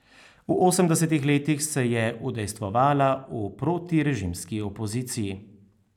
V osemdesetih letih se je udejstvovala v protirežimski opoziciji.